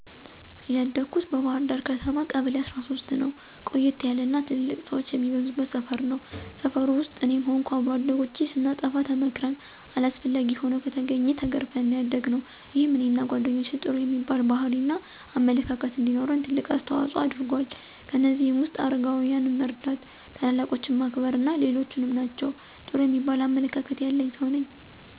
ያደኩት በባህርዳር ከተማ ቀበሌ13ነው። ቆየት ያለ እና ትልልቅ ሠወች የሚበዙበት ሰፈር ነው። ሰፈር ውስጥ እኔም ሆንኩ አብሮ አደጎቼ ስናጠፋ ተመክረን አስፈላጊ ሆኖ ከተገኘ ተገርፈን ነው ያደግነው። ይሄም እኔንና ጓደኞቼ ጥሩ የሚባል ባህሪ እና አመለካከት እንዲኖረን ትልቅ አስተዋጽኦ አድርጎአል። ከእነዚህም ውስጥ አረጋውያንን መርዳ፣ ታላላቆችን ማክበር አና ሌሎችም ናቸው። ጥሩ የሚባል አመለካከት ያለኝ ሠው ነኝ።